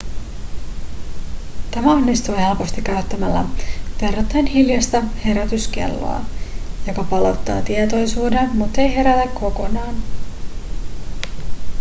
tämä onnistuu helposti käyttämällä verrattain hiljaista herätyskelloa joka palauttaa tietoisuuden muttei herätä kokonaan